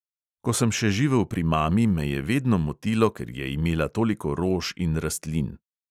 Ko sem še živel pri mami, me je vedno motilo, ker je imela toliko rož in rastlin.